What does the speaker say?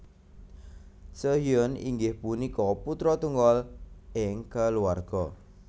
Seohyoen inggih punika putra tunggal ing keluarga